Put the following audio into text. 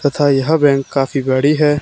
तथा यह बैंक काफी बड़ी है।